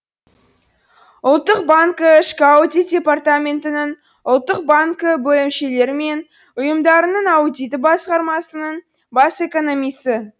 ұлттық банкі ішкі аудит департаментінің ұлттық банк бөлімшелері мен ұйымдарының аудиті басқармасының бас экономисі